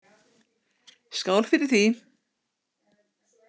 Skál fyrir því!